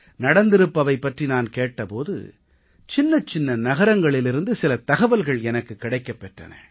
நடந்திருப்பவை பற்றி நான் கேட்ட போது சின்னச்சின்ன நகரங்களிலிருந்து சில தகவல்கள் எனக்குக் கிடைக்கப் பெற்றன